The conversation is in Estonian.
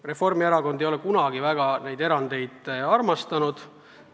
Reformierakond ei ole kunagi niisuguseid erandeid armastanud.